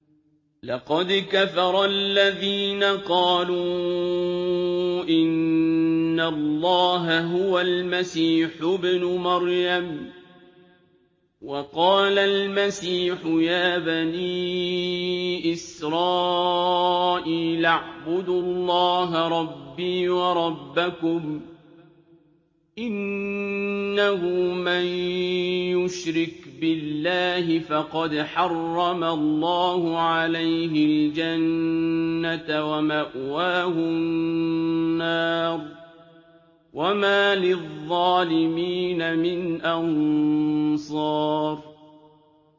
لَقَدْ كَفَرَ الَّذِينَ قَالُوا إِنَّ اللَّهَ هُوَ الْمَسِيحُ ابْنُ مَرْيَمَ ۖ وَقَالَ الْمَسِيحُ يَا بَنِي إِسْرَائِيلَ اعْبُدُوا اللَّهَ رَبِّي وَرَبَّكُمْ ۖ إِنَّهُ مَن يُشْرِكْ بِاللَّهِ فَقَدْ حَرَّمَ اللَّهُ عَلَيْهِ الْجَنَّةَ وَمَأْوَاهُ النَّارُ ۖ وَمَا لِلظَّالِمِينَ مِنْ أَنصَارٍ